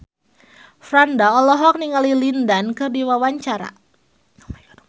Franda olohok ningali Lin Dan keur diwawancara